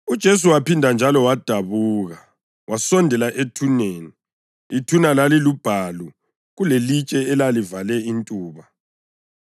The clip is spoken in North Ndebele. UJesu waphinda njalo wadabuka, wasondela ethuneni. Ithuna lalilubhalu, kulelitshe elalivale intuba.